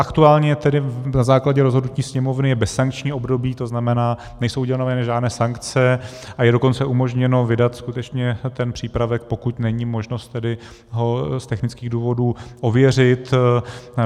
Aktuálně tedy na základě rozhodnutí Sněmovny je bezsankční období, to znamená, nejsou uděleny žádné sankce, a je dokonce umožněno vydat skutečně ten přípravek, pokud není možnost tedy ho z technických důvodů ověřit.